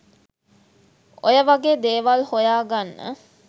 ඔය වගේ දේවල් හොයාගන්න.